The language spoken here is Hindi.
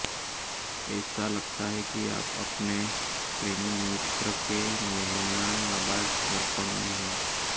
ऐसा लगता है कि आप अपने प्रेमी मित्र के मेहमाननवाज दर्पण में हैं